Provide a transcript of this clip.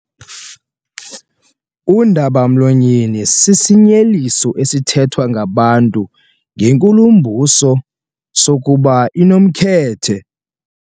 Undaba-mlonyeni sisinyeliso esithethwa ngabantu ngenkulumbuso sokuba inomkhethe.